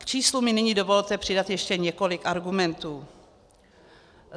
K číslu mi nyní dovolte přidat ještě několik argumentů.